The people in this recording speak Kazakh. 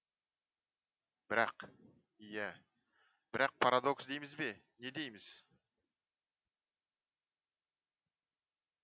бірақ иә бірақ парадокс дейміз бе не дейміз